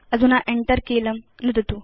अधुना Enter कीलं नुदतु